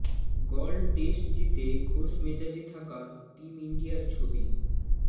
গল test জিতে খোশ মেজাজে থাকা টিম ইন্ডিয়ার ছবি